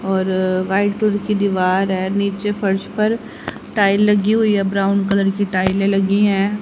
और white colour की दीवार है नीचे फर्श पर टाइल लगी हुई है ब्राउन कलर की टाइलें लगी हैं।